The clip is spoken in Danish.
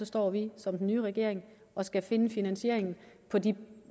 står vi som den nye regering og skal finde finansieringen af de